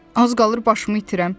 Az qalır başımı itirəm.